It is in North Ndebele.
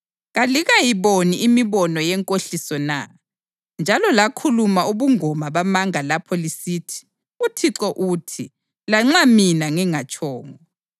Kalikayiboni imibono yenkohliso na, njalo lakhuluma ubungoma bamanga lapho lisithi, “ uThixo uthi,” lanxa mina ngingatshongo?